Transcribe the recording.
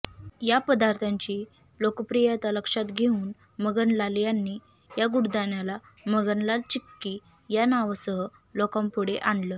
या पदार्थाची लोकप्रियता लक्षात घेऊन मगनलाल यांनी या गुडदाण्याला मगनलाल चिक्की या नावासह लोकांपुढे आणलं